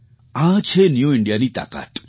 આ છે ન્યૂ Indiaની તાકાત